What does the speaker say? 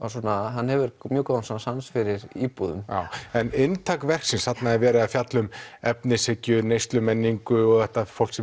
hann hefur mjög góðan sens fyrir íbúðum en inntak verksins þarna er verið að fjalla um efnishyggju neyslumenningu og þetta fólk sem